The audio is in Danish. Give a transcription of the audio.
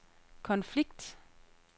konflikt